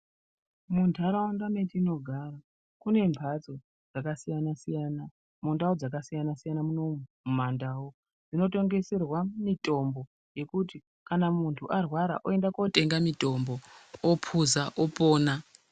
Mundaraunda matinogara kune mbatso dzakasiyana siyana mundau dzakasiyana siyana munomu munandau inotongeserwa mutombo wekuti kana munhu arwara ondotenga mutombo opuza opona.